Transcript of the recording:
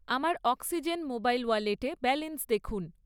আমার Oxigen mobile ওয়ালেটে balance দেখুন।